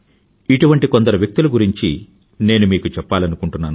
ఇటువంటి కొందరు వ్యక్తుల గురించి నేను మీకు చెప్పాలనుకుంటున్నాను